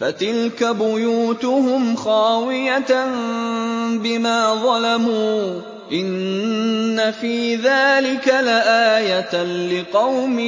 فَتِلْكَ بُيُوتُهُمْ خَاوِيَةً بِمَا ظَلَمُوا ۗ إِنَّ فِي ذَٰلِكَ لَآيَةً لِّقَوْمٍ